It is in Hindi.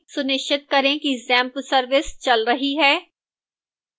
सुनिश्चित करें कि xampp service चल रही है